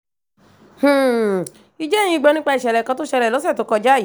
um ǹjẹ́ ẹ̀yin gbọ́ nípa ìṣẹ̀lẹ̀ kan tó ṣẹlẹ̀ lọ́sẹ̀ tó kọjá yìí